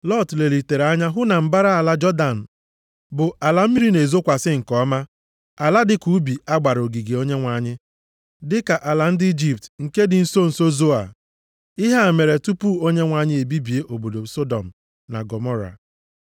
Lọt lelitere anya hụ na mbara ala Jọdan bụ ala mmiri na-ezokwasị nke ọma, ala dịka ubi a gbara ogige Onyenwe anyị, dịka ala ndị Ijipt nke dị na nso nso Zoa. (Ihe a mere tupu Onyenwe anyị ebibie obodo Sọdọm na Gọmọra.)